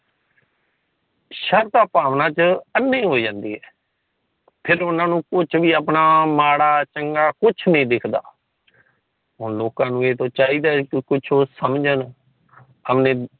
ਸਰਦਾ ਭਾਵਨਾਂ ਚ ਅਨੇ ਹੋ ਜਾਂਦੇ ਹੈ। ਫਿਰ ਉਨ੍ਹਾਂ ਨੂੰ ਕੁੱਜ ਵੀ ਆਪਣਾ ਮਾੜਾ ਚੰਗਾ ਕੁੱਛ ਨਹੀਂ ਦਿਖਦਾ। ਹੁਣ ਲੋਕਾਂ ਨੂੰ ਇਹ ਚਾਹੀਦਾ ਏ ਕਿ ਕੁੱਛ ਸਮਜਨ।